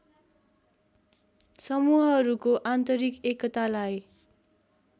समूहहरूको आन्तरिक एकतालाई